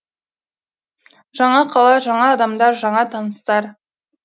жаңа қала жаңа адамдар жаңа таныстар